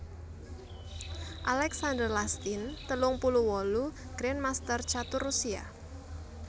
Alexander Lastin telung puluh wolu grandmaster catur Rusia